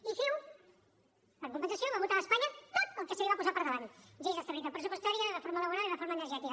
i ciu en compensació va votar a espanya tot el que se li va posar per davant lleis d’estabilitat pressupostària reforma laboral i reforma energètica